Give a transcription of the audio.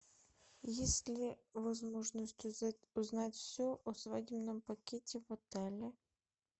есть ли возможность узнать все о свадебном пакете в отеле